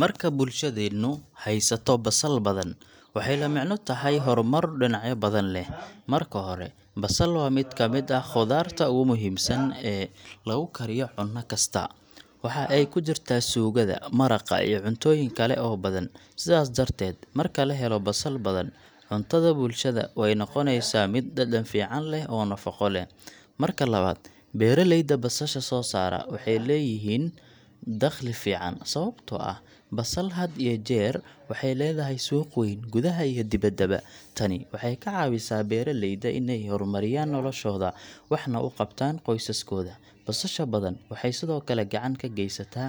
Marka bulshadeennu haysato basal badan, waxay la micno tahay horumar dhinacyo badan leh. Marka hore, basal waa mid ka mid ah khudaarta ugu muhiimsan ee lagu kariyo cunno kasta. Waxa ay ku jirtaa suugada, maraqa, iyo cuntooyin kale oo badan. Sidaas darteed, marka la helo basal badan, cuntada bulshada way noqonaysaa mid dhadhan fiican leh oo nafaqo leh. Marka labaad, beeraleyda basasha soo saara waxay helaan dakhli fiican, sababtoo ah basal had iyo jeer waxay leedahay suuq weyn, gudaha iyo dibaddaba. Tani waxay ka caawisaa beeraleyda in ay horumariyaan noloshooda, waxna u qabtaan qoysaskooda. Basasha badan waxay sidoo kale gacan ka geysataa